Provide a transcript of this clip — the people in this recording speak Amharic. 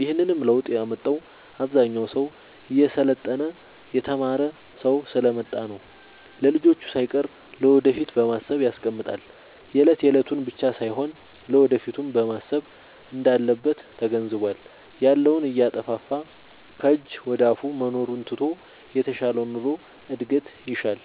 ይህንንም ለውጥ ያመጣው አብዛኛው ሰው እየሰለጠነ የተማረ ስሐ ስለመጣ ነው። ለልጅቹ ሳይቀር ለወደፊት በማሰብ ያስቀምጣል የለት የለቱን ብቻ ሳይሆን ለወደፊቱም ማሰብ እንዳለበት ተገንዝቧል። ያለውን እያጠፋፋ ከጅ ወደአፋ መኖሩን ትቶ የተሻለ ኑሮ እድገት ይሻል።